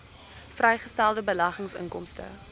vrygestelde beleggingsinkomste